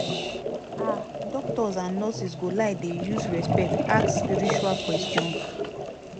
ah doctors and nurses go like dey use respect ask spiritual questions